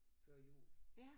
Før jo